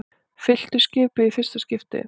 Fylltu skipið í fyrsta kasti